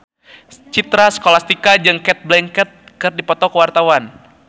Citra Scholastika jeung Cate Blanchett keur dipoto ku wartawan